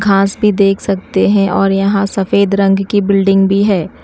घास भी देख सकते हैं और यहां सफेद रंग की बिल्डिंग भी है।